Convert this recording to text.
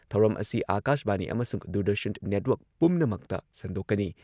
ꯊꯧꯔꯝ ꯑꯁꯤ ꯑꯥꯀꯥꯁꯕꯥꯅꯤ ꯑꯃꯁꯨꯡ ꯗꯨꯔꯗꯔꯁꯟ ꯅꯦꯠꯋꯔꯛ ꯄꯨꯝꯅꯃꯛꯇ ꯁꯟꯗꯣꯛꯀꯅꯤ ꯫